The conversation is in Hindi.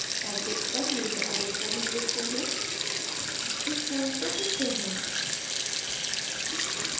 object पर नीले edit points दिखते हैं इस point को चुनते हैं